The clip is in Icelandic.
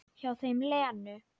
Hjá þeim Lenu.